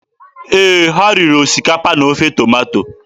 Ee, ha riri osikapa na ofe tomato.